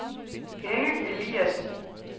Henny Eliasen